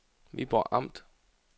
Viborg Amt